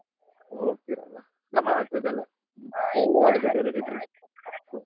ಹೋಗ್ತಿರಲ್ಲ ಗಮ್ಮತ್ ಆಗ್ತಾದಲ .